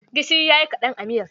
Gishiri ya yi kaɗan a miyar.